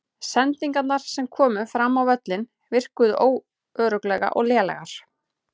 Sendingarnar sem komu fram á völlinn virkuðu óöruggar og lélegar.